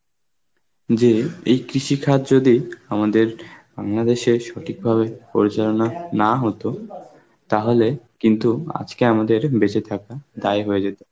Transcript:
যে এই কৃষিখাত যদি আমাদের Bangladesh এ সঠিকভাবে পরিচালনা না হতো তাহলে কিন্তু আজকে আমাদের বেঁচে থাকা দায় হয়ে যেত,